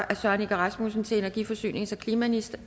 af søren egge rasmussen til energi forsynings og klimaministeren